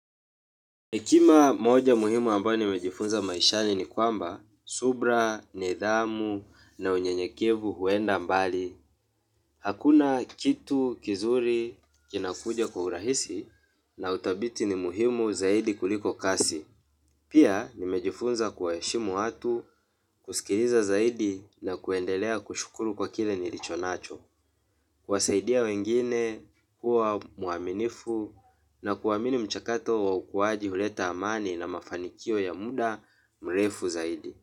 Hekima moja muhimu ambayo nimejifunza maishani ni kwamba, subra, nidhamu, na unyenyekevu huenda mbali. Hakuna kitu kizuri kinakuja kwa urahisi na uthabiti ni muhimu zaidi kuliko kasi. Pia nimejifunza kuwaheshimu watu, kusikiliza zaidi na kuendelea kushukuru kwa kile nilicho nacho. Kuwasaidia wengine kuwa mwaminifu na kuamini mchakato wa ukuaji huleta amani na mafanikio ya muda mrefu zaidi.